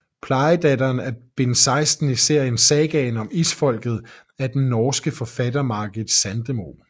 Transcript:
Plejedatteren er bind 16 i serien Sagaen om Isfolket af den norske forfatter Margit Sandemo